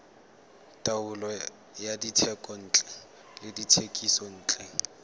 taolo ya dithekontle le dithekisontle